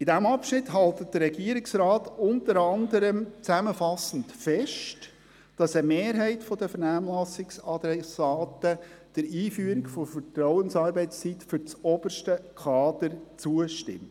In diesem Abschnitt hält der Regierungsrat unter anderem zusammenfassend fest, dass eine Mehrheit der Vernehmlassungsadressaten der Einführung der Vertrauensarbeitszeit für das oberste Kader zustimmt.